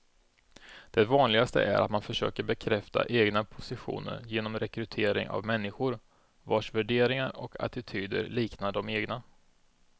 Det vanligaste är att man försöker bekräfta egna positioner genom rekrytering av människor vars värderingar och attityder liknar de egna.